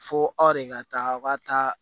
Fo aw de ka taa aw ka taa